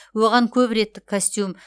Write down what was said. оған көп реттік костюм